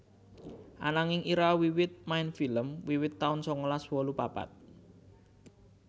Ananging Ira wiwit main film wiwit taun sangalas wolu papat